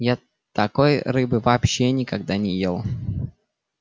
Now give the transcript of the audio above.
я такой рыбы вообще никогда не ел